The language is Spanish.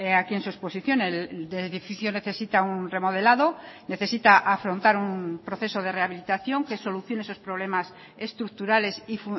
aquí en su exposición el edificio necesita un remodelado necesita afrontar un proceso de rehabilitación que solucione esos problemas estructurales y